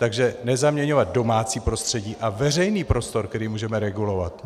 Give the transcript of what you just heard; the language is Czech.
Takže nezaměňovat domácí prostředí a veřejný prostor, který můžeme regulovat.